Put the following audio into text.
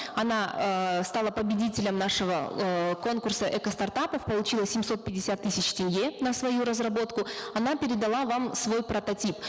она эээ стала победителем нашего эээ конкурса эко стартапов получила семьсот пятьдесят тысяч тенге на свою разработку она передала вам свой прототип